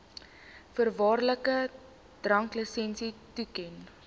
voorwaardelike dranklisensie toeken